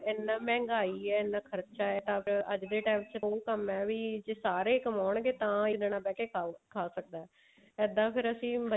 ਇੰਨਾ ਮਹਿੰਗਾਈ ਹੈ ਇੰਨਾ ਖਰਚਾ ਹੈ ਤਾਂ ਅੱਜ ਦੇ time ਚ ਤਾਂ ਉਹ ਕੰਮ ਹੈ ਵੀ ਜੇ ਸਾਰੇ ਕਮਾਉਣਗੇ ਤਾਂ ਇੱਕ ਜਾਣਾ ਬਹਿ ਕੀ ਖਾਉ ਖਾ ਸਕਦਾ ਹੈ ਇੱਦਾਂ ਫ਼ੇਰ ਅਸੀਂ